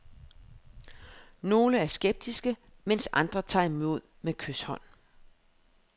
Nogle er skeptiske, mens andre tager imod med kyshånd.